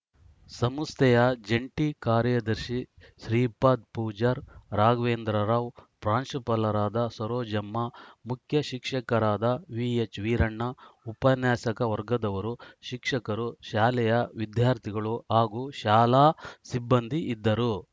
ಸಂಸ್ಥೆಯ ಜಂಟಿ ಕಾರ್ಯದರ್ಶಿ ಶ್ರೀಪಾದ್‌ ಪೂಜಾರ್‌ ರಾಘವೇಂದ್ರರಾವ್‌ ಪ್ರಾಂಶುಪಾಲರಾದ ಸರೋಜಮ್ಮ ಮುಖ್ಯ ಶಿಕ್ಷಕರಾದ ವಿ ಎಚ್‌ ವಿರಣ್ಣ ಉಪನ್ಯಾಸಕ ವರ್ಗದವರು ಶಿಕ್ಷಕರು ಶಾಲೆಯ ವಿದ್ಯಾರ್ಥಿಗಳು ಹಾಗು ಶಾಲಾ ಸಿಬ್ಬಂದಿ ಇದ್ದರು